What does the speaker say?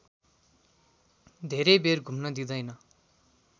धेरै बेर घुम्न दिँदैन